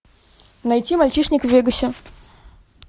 найти мальчишник в вегасе